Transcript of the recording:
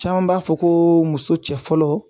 Caman b'a fɔ ko muso cɛ fɔlɔ